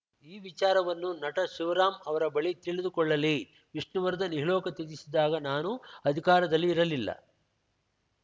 ಈ ವಿಚಾರವನ್ನು ನಟ ಶಿವರಾಂ ಅವರ ಬಳಿ ತಿಳಿದುಕೊಳ್ಳಲಿ ವಿಷ್ಣುವರ್ಧನ್‌ ಇಹಲೋಕ ತ್ಯಜಿಸಿದಾಗ ನಾನು ಅಧಿಕಾರದಲ್ಲಿ ಇರಲಿಲ್ಲ